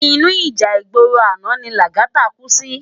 Inú íjà igbóró àná ni Lagata kú si